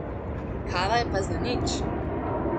Kava je pa zanič.